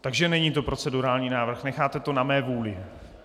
Takže není to procedurální návrh, necháte to na mé vůli.